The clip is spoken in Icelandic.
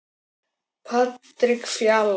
Patrik Fjalar.